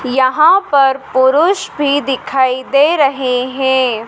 यहाँ पर पुरुष भी दिखाई दे रहे हैं।